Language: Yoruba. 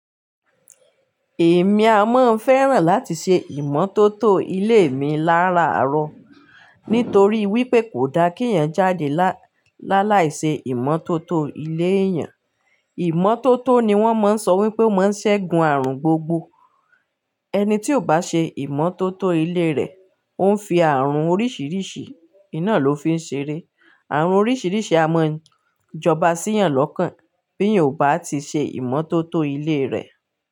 Èmi a máa ń fẹ́ràn láti ṣe ìmọ́tótó ilé mi láraaro nítorí wípé kò da kí èèyàn jáde lálàíṣe ìmọ́tótó ilé èèyàn. Ìmọ́tótó ni wọ́n máa ń sọ wípé ó máa ń ṣẹ́gun àrùn gbogbo. Ẹni tí ò bá ṣe ìmọ́tótó ilé rẹ̀ ó ń fi àrùn oríṣìíríṣìí iná ló fi ń ṣeré. Àrùn oríṣìíríṣìí a máa ń jọba sí èèyàn lọ́kàn bí èèyàn ò bá ti ṣe ìmọ́tótó ilé rẹ̀